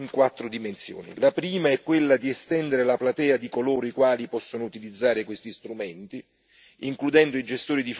La prima è quella di estendere la platea di coloro i quali possano utilizzare questi strumenti, includendo i gestori di fondi di maggiori dimensioni